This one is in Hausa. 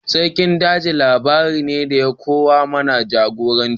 Sarkin daji labari ne da ya koya mana jagoranci.